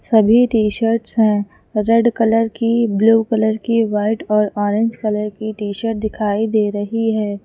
सभी T shirts हैं red colour की ब्लू कलर की वाइट और ऑरेंज कलर की टी शर्ट दिखाई दे रही हैं।